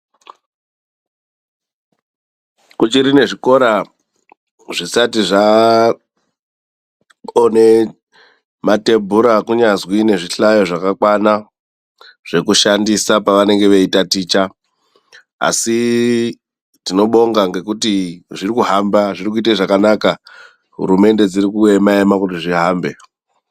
Kuchiri nezvikora zvisati zvaone matebhura kunyazwi nezvihlayo zvakakwana zvekushandisa pavanenge veitaticha. Asi tinobonga ngekuti zvirikuhamba, zvirikuite zvakanaka. Hurumende dzirikuema ema kuti zvihambe.